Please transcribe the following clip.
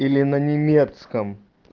или на немецком